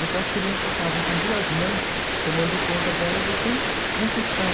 Então as crianças estavam com duas mães tomando conta delas e sem um tostão.